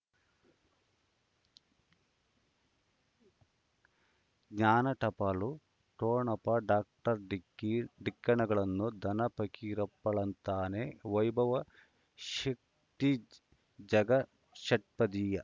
ಜ್ಞಾನ ಟಪಾಲು ಠೊಣಪ ಡಾಕ್ಟರ್ ಢಿಕ್ಕಿ ಟಿಣಗಳನು ಧನ ಫಕೀರಪ್ಪ ಳಂತಾನೆ ವೈಭವ್ ಶಕ್ತಿ ಝಗಾ ಷಟ್ಪದಿಯ